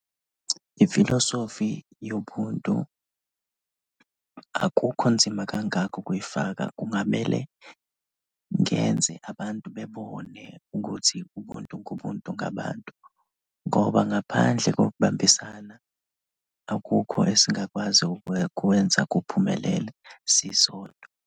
Ifilosofi yomuntu akukho nzima kangako ukuyifaka, kungamele ngenze abantu bebone ukuthi umuntu ngumuntu ngabantu ngoba ngaphandle kokubambisana akukho esingakwazi ukukwenza kuphumelele sisodwa.